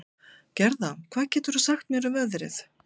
Gerða, hvað geturðu sagt mér um veðrið?